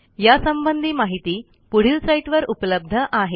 यासंबंधी माहिती पुढील साईटवर उपलब्ध आहे